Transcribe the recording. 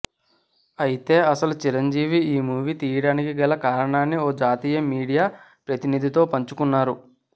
ఐతే అసలు చిరంజీవి ఈ మూవీ తీయడానికి గల కారణాన్ని ఓ జాతీయ మీడియా ప్రతినిధితో పంచుకున్నారు